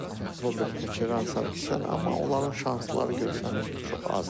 Robert Koçaryan, Sarkisyan, amma onların şansları görsənir ki, çox azdır.